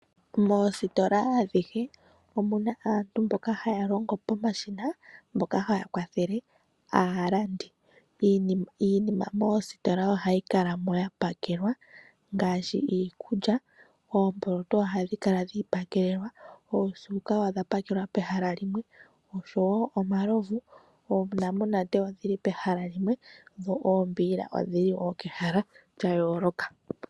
Mositola adhihe omuna aantu mboka haya longo pomashina , mboka haya kwathele aalandi. Iinima mositola ohayi kalamo yapakelwa ngaashi iikulya, oomboloto ohadhi kala dhiipakelelwa , oosuka odha pakelwa pehala limwe. Oshowo omalovu, oonamunate odhili pehala limwe dho oombiila odhili wo kehala lya yooloka.